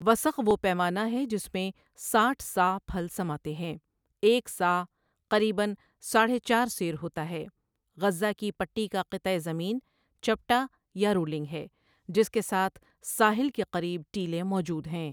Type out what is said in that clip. وسق وہ پیمانہ ہے جس میں ساٹھ صاع پھل سماتے ہیں، ایک صاع قریبًا ساڑھے چار سیر ہوتا ہے غزہ کی پٹی کا قطعہ زمین چپٹا یا رولنگ ہے جس کے ساتھ ساحل کے قریب ٹیلے موجود ہیں۔